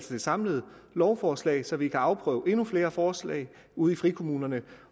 det samlede lovforslag så vi kan afprøve endnu flere forslag ude i frikommunerne